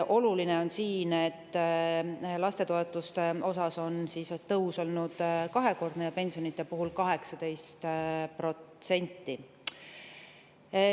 Oluline on, et lastetoetuste tõus on olnud kahekordne ja pensionid on tõusnud 18%.